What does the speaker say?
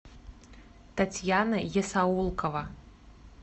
татьяна есаулкова